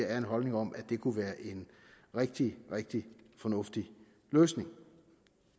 er en holdning om at det kunne være en rigtig rigtig fornuftig løsning